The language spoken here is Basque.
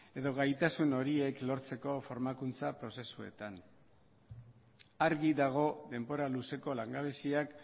edo gaitasun horiek lortzeko formakuntza prozesuetan argi dago denbora luzeko langabeziak